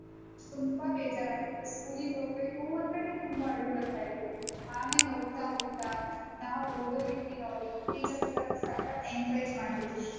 ತುಂಬಾ ಬೇಜಾರಾಗ್ತಿತ್ತು school ಗೆ ಹೊಗ್ಬೇಕೂಂದ್ರೆನೆ ತುಂಬಾ ಅಳು ಬರ್ತಾ ಇತ್ತು. ಆಮೇಲ್ ಹೋಗ್ತಾ ಹೋಗ್ತಾ ನಾವ್ ಓದೋ ರೀತಿ ನೋಡಿ teachers ಎಲ್ಲಾ ಸಕ್ಕತ್ encourage ಮಾಡ್ತಿದ್ರು.